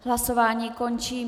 Hlasování skončilo.